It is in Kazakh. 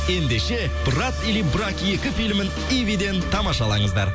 ендеше брат или брак екі филімін ивиден тамашалаңыздар